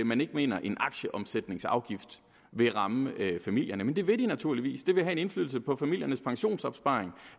man ikke mener at en aktieomsætningsafgift vil ramme familierne men det vil den naturligvis det vil have en indflydelse på familiernes pensionsopsparing